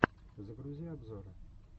загрузи обзоры